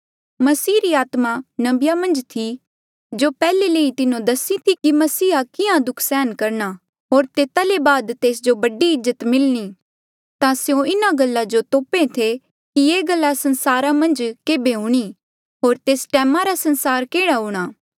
मसीह री आत्मा नबिया मन्झ थी जो पैहले ले ही तिन्हो दसी थी कि मसीहा कियां दुःख सहन करना होर तेता ले बाद तेस जो बड़ी इज्जत मिलणी ता स्यों इन्हा गल्ला जो तोपे थे कि ये गल्ला संसारा मन्झ केबे हूणीं होर तेस टैमा रा संसार केह्ड़ा हूंणां